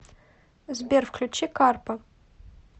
сбер включи карпа